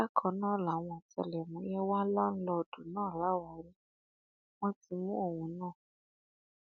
bákan náà làwọn ọtẹlẹmúyẹ wà láńlọọdù náà láwàárí wọn ti mú òun náà